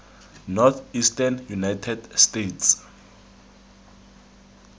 northeastern united states